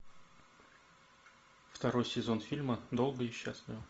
второй сезон фильма долго и счастливо